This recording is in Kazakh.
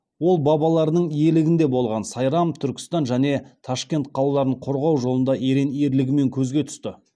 ол бабаларының иелігінде болған сайрам түркістан және ташкент қалаларын қорғау жолында ерен ерлігімен көзге түсті